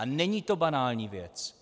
A není to banální věc!